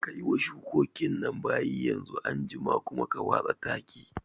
Kayi wa shukokin nan bayi yanzu, anjima kuma ka watsa taki